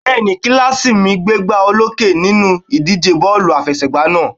Bẹ́ẹ̀ni, kílàsì mi gbégbá olókè nínú ìdíje bọ́ọ̀lù àfẹsẹ̀gbá náà